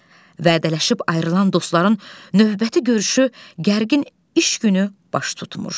Vədələşib ayrılan dostların növbəti görüşü gərgin iş günü baş tutmur.